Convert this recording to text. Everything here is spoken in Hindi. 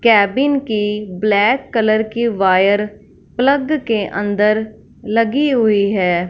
केबिन की ब्लैक कलर की वायर प्लग के अंदर लगी हुई है।